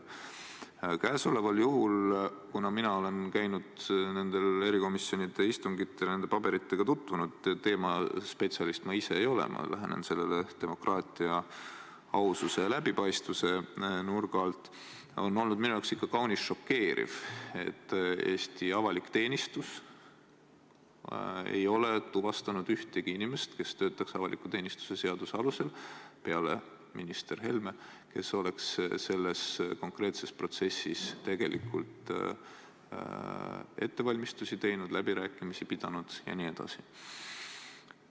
Käesoleval juhul – kuna mina olen nendel erikomisjonide istungitel käinud ja nende paberitega tutvunud, teema spetsialist ma ise ei ole, ma lähenen sellele demokraatia, aususe ja läbipaistvuse nurga alt – on minu jaoks olnud ikka kaunis šokeeriv, et Eesti avalik teenistus ei ole tuvastanud ühtegi inimest, kes töötaks avaliku teenistuse seaduse alusel, peale minister Helme, ja kes oleks selles konkreetses protsessis ettevalmistusi teinud, läbirääkimisi pidanud jne.